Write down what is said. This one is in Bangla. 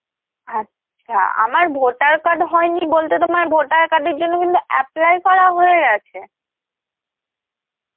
আচ্ছা, আমার voter card হয়নি বলতে তোমার voter card এর জন্য কিন্তু apply করা হয়ে গেছে.